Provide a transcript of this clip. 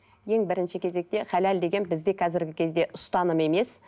ең бірінші кезекте халал деген бізде қазіргі кезде ұстаным емес